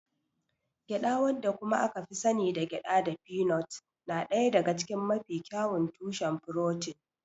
Gyada wadda kuma aka sani da gyada da pignut na ɗaya daga cikin mafi kyawun tushen furotin.